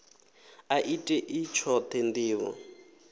a i tei tshoṱhe ndivho